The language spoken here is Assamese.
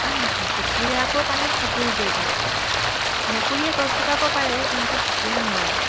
আনহাতে কুকুৰে আকৌ পানীত সাঁতুৰিবও পাৰে মেকুৰীয়ে গছ বগাব পাৰে কিন্তু কুকুৰে নোৱাৰে